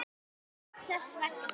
Allt þess vegna.